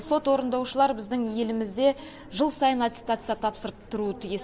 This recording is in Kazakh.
сот орындаушылары біздің елімізде жыл сайын аттестация тапсырып тұруы тиіс